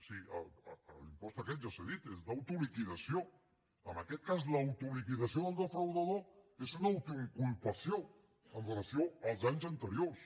sí l’impost aquest ja s’ha dit és d’autoliquidació en aquest cas l’autoliquidació del defraudador és una autoinculpació amb relació als anys anteriors